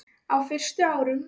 Á fyrstu árum